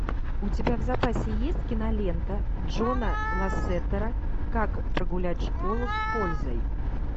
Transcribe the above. у тебя в запасе есть кинолента джона лассетера как прогулять школу с пользой